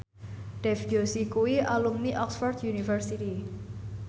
Dev Joshi kuwi alumni Oxford university